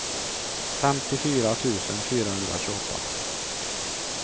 femtiofyra tusen fyrahundratjugoåtta